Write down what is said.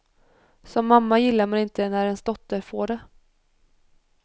Som mamma gillar man inte när ens dotter får det.